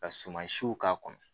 Ka suma siw k'a kɔnɔ